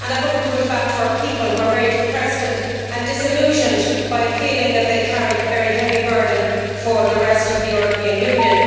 I hope, too, that it comes back to our people, who are very depressed and disillusioned by a feeling that they carry a very heavy burden for the rest of the European Union.